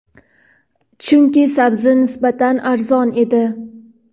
Chunki, sabzi nisbatan arzon edi.